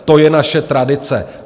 To je naše tradice.